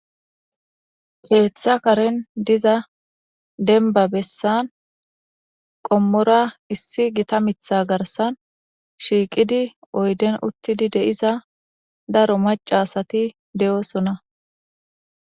Ketha Karen diza denba besan qommora issi gita mitha garsan shiiqi oyden utidi de'iza daro maca asati de'eosona